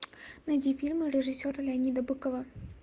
найди фильмы режиссера леонида быкова